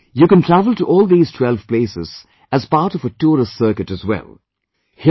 In a way, you can travel to all these 12 places, as part of a tourist circuit as well